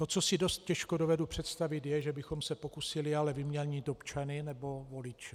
To, co si dost těžko dovedu představit, je, že bychom se pokusili ale vyměnit občany nebo voliče.